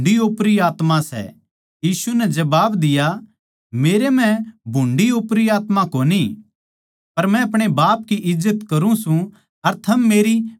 यीशु नै जबाब दिया मेरै म्ह भुन्ड़ी ओपरी आत्मा कोनी पर मै अपणे बाप की इज्जत करूँ सूं अर थम मेरी बेइज्जती करो सो